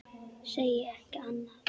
Segi ekki annað.